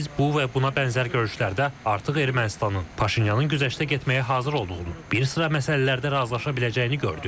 Biz bu və buna bənzər görüşlərdə artıq Ermənistanın, Paşinyanın güzəştə getməyə hazır olduğunu, bir sıra məsələlərdə razılaşa biləcəyini gördük.